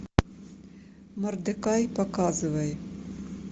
мордекай показывай